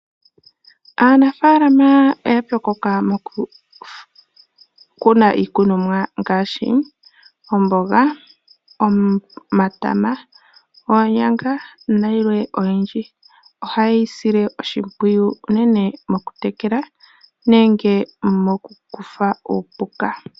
Aanafalama oya pyokoka mokukuna iikunomwa ngaashi omboga, omatama oonyanga na yilwe oyindji. Oha yeyi sile oshimpwiyu unene mokutekela nenge mokukutha uupuka.